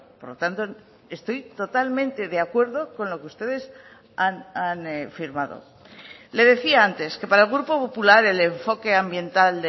por lo tanto estoy totalmente de acuerdo con lo que ustedes han firmado le decía antes que para el grupo popular el enfoque ambiental